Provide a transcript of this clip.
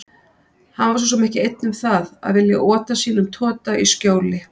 Hann var svo sem ekki einn um það að vilja ota sínum tota í skjóli